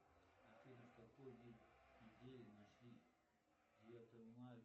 афина в какой день недели нашли девятого мая